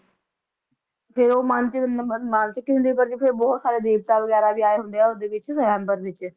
ਤੇ ਉਹ ਮਨ ਚ ਮੰਨ ਚੁੱਕੀ ਹੁੰਦੀ ਆ ਪਰ ਓਥੇ ਬਹੁਤ ਸਾਰੇ ਦੇਵਤਾ ਵਗੈਰਾ ਵੀ ਆਏ ਹੁੰਦੇ ਆ ਓਹਦੇ ਵਿੱਚ ਸਵੰਬਰ ਵਿੱਚ